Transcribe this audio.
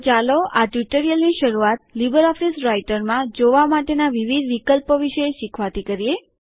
તો ચાલો આ ટ્યુટોરીયલની શરુઆત લીબરઓફીસ રાઈટરમાં જોવા માટેના વિવિધ વિકલ્પો વિશે શીખવાથી કરીએ